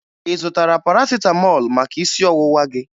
Ị zụtara Parasịtamọọlụ maka isi ọwụwa gị?